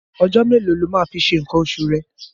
Ọjọ́ mélòó lo máa fi ṣe nǹkan oṣù rẹ̀?